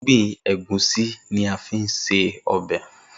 Irúgbìn Ẹ̀gúsí ni a fi ń se ọbẹ̀